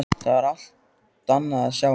Það var allt annað að sjá hann.